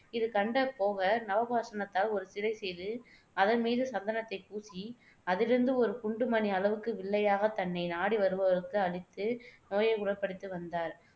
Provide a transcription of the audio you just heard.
இது கண்ட போகர் நவபாஷணத்தால் ஒரு சிலை செய்து அதன் மீது சந்தனத்தைப் பூசி அதிலிருந்து ஒரு குண்டுமணி அளவுக்கு வில்லையாக தன்னை நாடி வருபவர்களுக்கு அளித்து நோயை குணப்படுத்தி வந்தார்